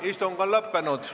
Istung on lõppenud.